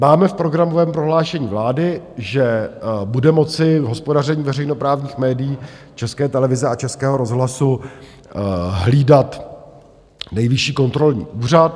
Máme v programovém prohlášení vlády, že bude moci hospodaření veřejnoprávních médií, České televize a Českého rozhlasu, hlídat Nejvyšší kontrolní úřad.